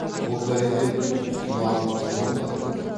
бұл бәледен құтыларлық жол бар ма